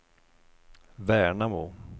Värnamo